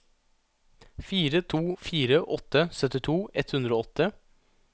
fire to fire åtte syttito ett hundre og åtte